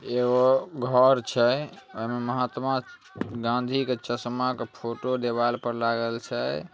एगो घर छै। ओय में महात्मा गांधी के चश्मा क फोटो दीवार पे लागल छै।